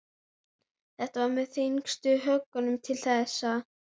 Þetta var með þyngstu höggunum til þessa.